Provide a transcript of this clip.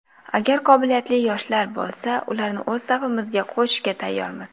Agar qobiliyatli yoshlar bo‘lsa, ularni o‘z safimizga qo‘shishga tayyormiz.